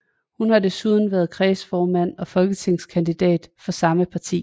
Hun har desuden været kredsformand og folketingskandidat for samme parti